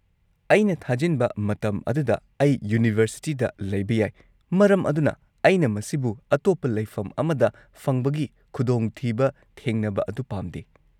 -ꯑꯩꯅ ꯊꯥꯖꯤꯟꯕ ꯃꯇꯝ ꯑꯗꯨꯗ ꯑꯩ ꯌꯨꯅꯤꯚꯔꯁꯤꯇꯤꯗ ꯂꯩꯕ ꯌꯥꯏ ꯃꯔꯝ ꯑꯗꯨꯅ ꯑꯩꯅ ꯃꯁꯤꯕꯨ ꯑꯇꯣꯞꯄ ꯂꯩꯐꯝ ꯑꯃꯗ ꯐꯪꯕꯒꯤ ꯈꯨꯗꯣꯡꯊꯤꯕ ꯊꯦꯡꯅꯕ ꯑꯗꯨ ꯄꯥꯝꯗꯦ ꯫